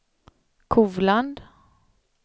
Kovland